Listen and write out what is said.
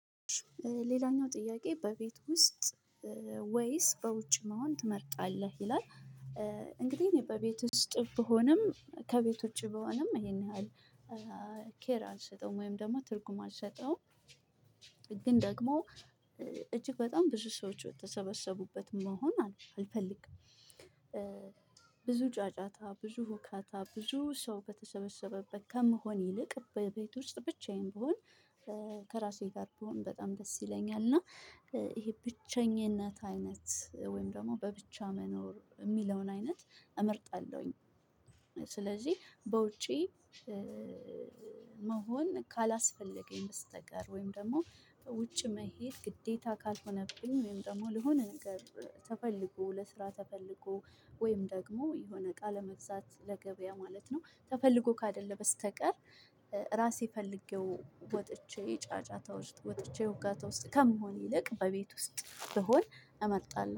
ሌላኛው ጥያቄ በቤት ውስጥ ወይስ በውጭ መሆን ትመርጣለህ ይላል? እንግዲህ እኔ በቤት ውስጥ ብሆንም ከቤት ውጪ ብሆንም ይሄን ያህል ኬር አልሰጠውም ወይም ደግሞ ትርጉም አልሰጠውም። ግን ደግሞ እጅግ በጣም ብዙ ሰዎች በተሰበሰቡበት መሆን አልፈልግም። ብዙ ጫጫታ ብዙ ሁካታ ብዙ ሰው በተሰበሰበበት ከምሆን ይልቅ በቤት ውስጥ ብቻዬን ብሆን ከራሴ ጋር ብሆን በጣም ደስ ይለኛል። እና ይሄ ብቸኝነት አይነት ወይም ደግሞ በብቻ መኖር እሚለውን አይነት እመርጣለሁኝ። ስለዚህ በውጪ መሆን ካላስፈለገኝ በስተቀር ወይም ደግሞ በውጭ መሄድ ግዴታ ካልሆነብኝ ወይም ደግሞ ለሆነ ነገር ተፈልጎ ለስራ ተፈልጎ ወይም ደግሞ የሆነ እቃ ለመግዛት ለገበያ ማለት ነው ተፈልጎ ካደለ በስተቀር። ራሴ ፈልጌው ወጥቼ ጫጫታ ውስጥ ወጥቼ ሁካታ ውስጥ ከመሆን ይልቅ በቤት ውስጥ ብሆን እመርጣለሁ